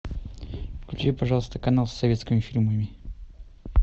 включи пожалуйста канал с советскими фильмами